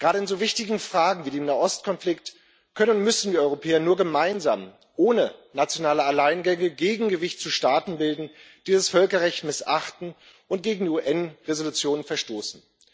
Gerade in so wichtigen Fragen, wie dem Nahost Konflikt können und müssen wir Europäer gemeinsam ohne nationale Alleingänge ein Gegengewicht zu Staaten bilden, die das Völkerrecht missachten und gegen UN Resolutionen verstoßen.